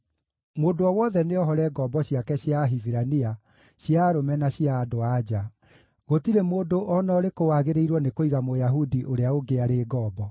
Mũndũ o wothe angĩtuĩka nĩekuohora ngombo ciake cia Ahibirania, cia arũme na cia andũ-a-nja; gũtirĩ mũndũ o na ũrĩkũ wagĩrĩirwo nĩ kũiga Mũyahudi ũrĩa ũngĩ arĩ ngombo.